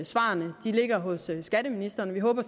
svarene de ligger hos skatteministeren vi håber